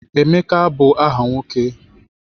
Emeka bụ aha nwoke.